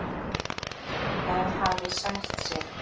Það hafi sært sig.